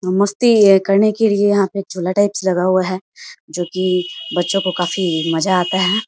मस्ती ये करने के लिए यहां पे झूला टाइप से लगा हुआ है जो की बच्चो को काफी मजा आता है।